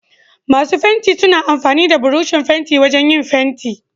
Masu fenti suna amfani da Burushin fentin wajan yin fenti.